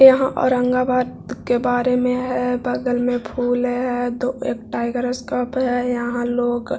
यहाँ औरंगाबाद के बारे में है बगल में फूल है दो एक टाइगर स्कोप है यहाँ लोग --